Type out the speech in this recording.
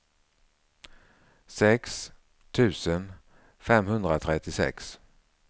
sex tusen femhundratrettiosex